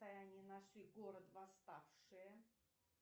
таяние нашли город восставшие